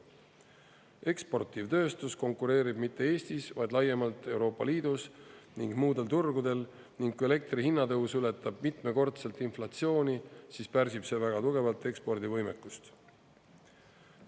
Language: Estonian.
Eksportiv tööstus konkureerib mitte Eestis, vaid laiemalt Euroopa Liidus ning muudel turgudel ning kui elektri hinna tõus ületab mitmekordselt inflatsiooni, siis pärsib see väga tugevalt ekspordivõimekust.